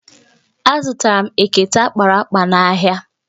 Azụtara m ekete akpara akpa n'ahịa.